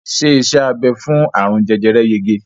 Ṣé iṣẹ́ abẹ fún àrùn jẹjẹrẹ yege?